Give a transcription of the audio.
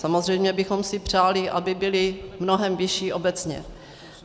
Samozřejmě bychom si přáli, aby byly mnohem vyšší obecně.